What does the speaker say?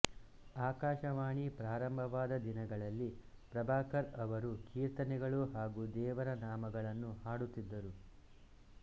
ಆಕಾಶವಾಣಿ ಪ್ರಾರಂಭವಾದ ದಿನಗಳಲ್ಲಿ ಪ್ರಭಾಕರ್ ಅವರು ಕೀರ್ತನೆಗಳು ಹಾಗೂ ದೇವರನಾಮಗಳನ್ನು ಹಾಡುತ್ತಿದ್ದರು